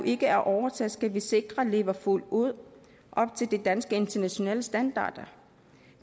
ikke er overtaget skal vi sikre lever fuldt ud op til de danske internationale standarder